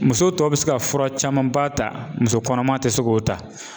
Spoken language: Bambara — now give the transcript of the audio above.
Muso tɔ bɛ se ka fura camanba ta, muso kɔnɔma ti se k'o ta